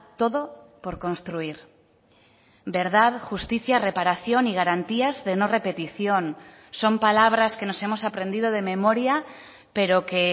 todo por construir verdad justicia reparación y garantías de no repetición son palabras que nos hemos aprendido de memoria pero que